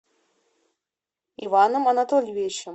иваном анатольевичем